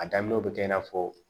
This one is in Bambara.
A daminɛw bɛ kɛ i n'a fɔ